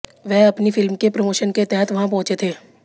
वह अपनी फिल्म के प्रोमोशन के तहत वहां पहुंचे थे